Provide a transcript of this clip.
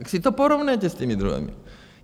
Tak si to porovnejte s těmi druhými.